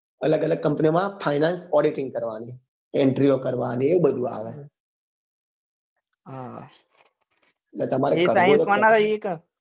અલગ અલગ company ઓ માં finance auditing કરવા ની entry ઓ કરવા ની એ બધું આવે